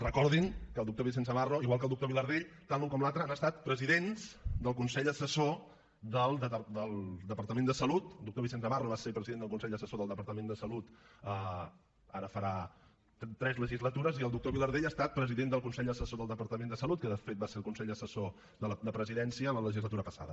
recordin que el doctor vicenç navarro igual que el doctor vilardell tant l’un com l’altre han estat presidents del consell assessor del departament de salut el doctor vicenç navarro va ser president del consell assessor del departament de salut ara farà tres legislatures i el doctor vilardell ha estat president del consell assessor del departament de salut que de fet va ser el consell assessor de la presidència en la legislatura passada